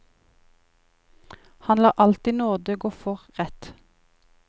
Han lar alltid nåde gå for rett.